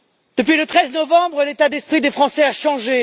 Depuis le 13 novembre, l'état d'esprit des Français a changé.